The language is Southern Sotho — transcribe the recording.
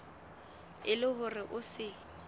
e le hore o se